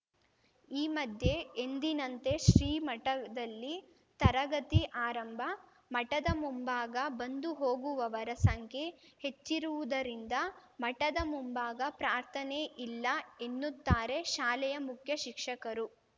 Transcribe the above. ಈ ಮಧ್ಯೆ ಎಂದಿನಂತೆ ಶ್ರೀಮಠದಲ್ಲಿ ತರಗತಿ ಆರಂಭ ಮಠದ ಮುಂಭಾಗ ಬಂದು ಹೋಗುವವರ ಸಂಖ್ಯೆ ಹೆಚ್ಚಿರುವುದರಿಂದ ಮಠದ ಮುಂಭಾಗ ಪ್ರಾರ್ಥನೆ ಇಲ್ಲ ಎನ್ನುತ್ತಾರೆ ಶಾಲೆಯ ಮುಖ್ಯ ಶಿಕ್ಷಕರು